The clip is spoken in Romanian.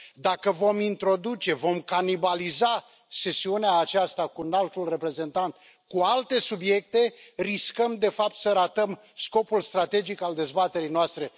Dacă vom introduce, dacă vom canibaliza sesiunea aceasta cu Înaltul Reprezentant cu alte subiecte, riscăm de fapt să ratăm scopul strategic al dezbaterii noastre.